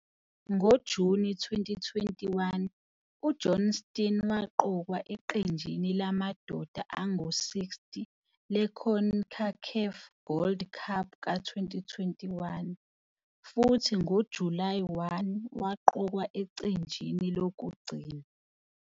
NgoJuni 2021 uJohnston waqokwa eqenjini lamadoda angu-60 le-CONCACAF Gold Cup ka-2021, futhi ngoJulayi 1 waqokwa ecenjini lokugcina.